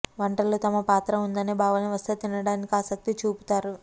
వంటలో తమ పాత్ర ఉందనే భావన వస్తే తినడానికి ఆసక్తి చూపుతారు